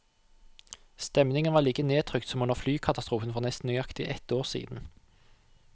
Stemningen var like nedtrykt som under flykatastrofen for nesten nøyaktig ett år siden.